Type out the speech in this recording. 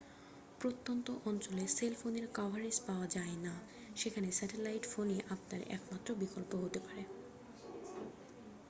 প্রত্যন্ত অঞ্চলে সেলফোনের কভারেজ পাওয়া যায় না সেখানে স্যাটেলাইট ফোনই আপনার একমাত্র বিকল্প হতেপারে